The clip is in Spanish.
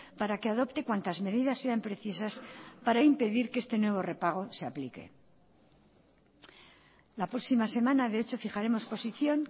para que adopte cuantas medidas sean precisas para impedir que este nuevo repago se aplique la próxima semana de hecho fijaremos posición